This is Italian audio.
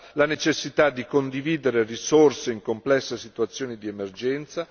la necessità di condividere risorse in complesse situazioni di emergenza